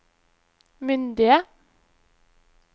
myndige